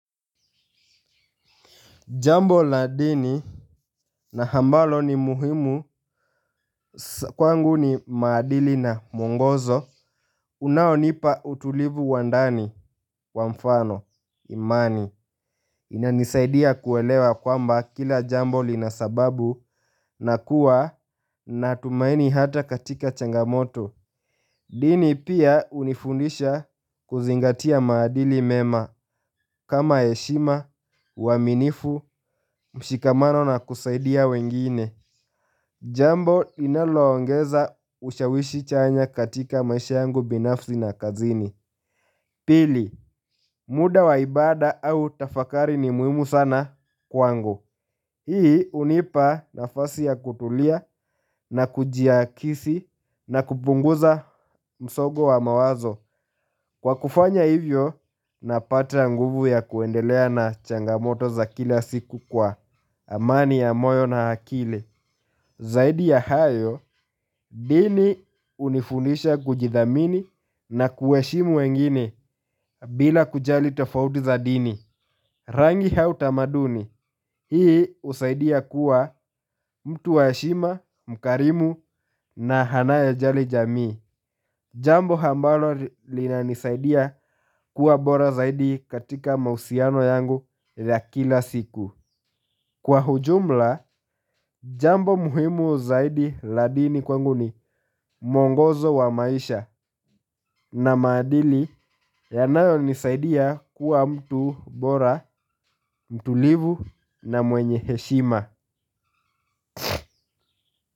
Jambo la dini na hambalo ni muhimu kwangu ni maadili na mungozo. Unaonipa utulivu wa ndani kwa mfano imani. Inanisaidia kuelewa kwamba kila jambo lina sababu na kuwa na tumaini hata katika changamoto. Dini pia hunifundisha kuzingatia maadili mema kama heshima, uaminifu, mshikamano na kusaidia wengine. Jambo linaloongeza ushawishi chanya katika maisha yangu binafsi na kazini. Pili, muda wa ibada au tafakari ni muhimu sana kwangu. Hii hunipa nafasi ya kutulia na kujiakisi na kupunguza msogo wa mawazo. Kwa kufanya hivyo napata nguvu ya kuendelea na changamoto za kila siku kwa amani ya moyo na akili. Zaidi ya hayo, dini hunifundisha kujithamini na kuheshimu wengine bila kujali tafauti za dini. Rangi au tamaduni, hii husaidia kuwa mtu wa heshima, mkarimu na anayejali jamii. Jambo ambalo linanisaidia kuwa bora zaidi katika mahusiano yangu ya kila siku. Kwa ujumla, jambo muhimu zaidi la dini kwangu ni mwongozo wa maisha na maadili yanayonisaidia kuwa mtu bora, mtulivu na mwenye heshima.